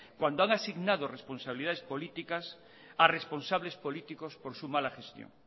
cuando han asignado responsabilidades políticas a responsables políticos por su mala gestión